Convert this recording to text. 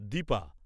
Dipa